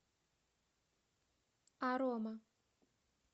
арома